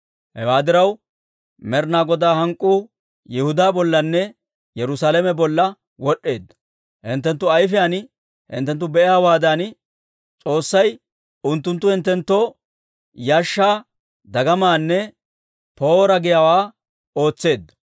Hewaa diraw, Med'inaa Godaa hank'k'uu Yihudaa bollanne Yerusaalame bolla wod'd'eedda. Hinttenttu ayfiyaan hinttenttu be'iyaawaadan, S'oossay unttunttu hinttenttoo yashshaa, dagamaanne ‹Poora!› giyaawaa ootseedda.